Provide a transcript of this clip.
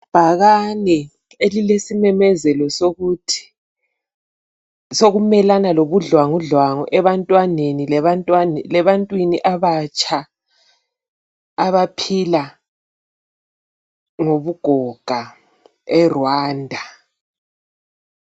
Ibhakane elilesimemezelo sokuthi, sokumelana lobudlwangudlwangu, ebantwaneni, lebantwini abatsha, abaphila lobugoga, eRwanda.